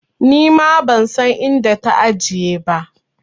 Nima ban san inda ta ajiye ba.